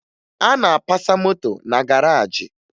A na-apasa moto na garaajị